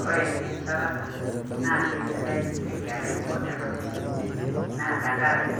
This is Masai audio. Kore encharata naa keisidai te nkerai o te ng`otonye, naa tenkaraki